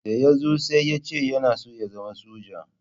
Da ya zo sai ya ce yana so ya zama soja.